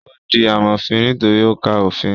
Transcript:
Ó di amòfin nítorí ó ka òfin